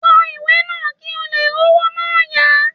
Kọ ìwé náà kí ò leè r'ówó náà yá